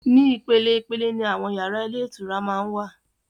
Ní ìpele ìpele ni àwọn yàrá ilé ìtura máa wà.